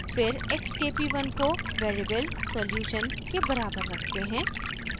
फिर x k p1 को variable solution के बराबर रखते हैं